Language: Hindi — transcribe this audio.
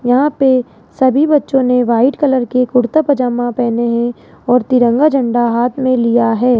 यहां पे सभी बच्चों ने व्हाइट कलर के कुर्ता पजामा पहने हैं और तिरंगा झंडा हाथ में लिया है।